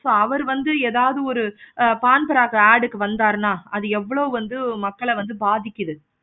so அவரு வந்து ஏதாவது ஒரு பான்பராக்கு ad க்கு வந்தாருன்னா அது எவ்வளோ வந்து மக்களை வந்து பாதிக்குது